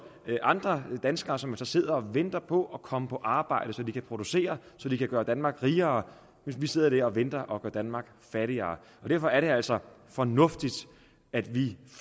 andre danskere som så sidder og venter på at komme på arbejde så de kan producere så de kan gøre danmark rigere men vi sidder der og venter og gør danmark fattigere derfor er det altså fornuftigt at vi